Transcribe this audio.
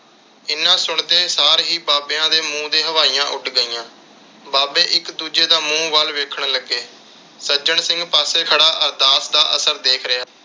ਇੰਨੇ ਸੁਣਦੇ ਸਾਰ ਹੀ ਬਾਬਿਆਂ ਤੇ ਮੂੰਹ ਤੇ ਹਵਾਈਆਂ ਉੱਡ ਗਈਆਂ। ਬਾਬੇ ਇਕ ਦੂਜੇ ਦਾ ਮੂੰਹ ਵੱਲ ਦੇਖਣ ਲੱਗੇ । ਸੱਜਣ ਸਿੰਘ ਪਾਸੇ ਖੜਾ ਅਰਦਾਸ ਦਾ ਅਸਰ ਦੇਖ ਰਿਹਾ।